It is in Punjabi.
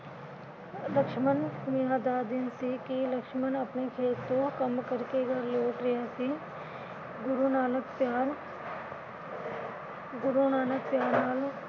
ਲਕਸ਼ਮਣ ਵਿਆਹ ਦਾ ਦਿਨ ਸੀ ਕਿ ਲਕਸ਼ਮਣ ਆਪਣੇ ਖੇਤ ਤੋਂ ਕੰਮ ਕਰਕੇ ਘਰ ਲੋਟ ਰਿਹਾ ਸੀ । ਗੁਰੂ ਨਾਨਕ ਪਿਆਰ, ਗੁਰੂ ਨਾਨਕ ਪਿਆਰ